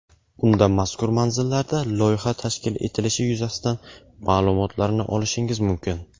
Unda mazkur manzillarda loyiha tashkil etilishi yuzasidan ma’lumotlarni olishingiz mumkin.